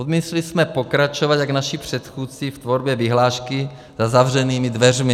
Odmítli jsme pokračovat jak naši předchůdci v tvorbě vyhlášky za zavřenými dveřmi.